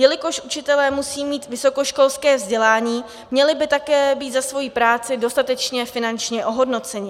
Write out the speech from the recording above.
Jelikož učitelé musí mít vysokoškolské vzdělání, měli by také být za svoji práci dostatečně finančně ohodnoceni.